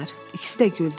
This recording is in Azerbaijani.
İkisi də güldü.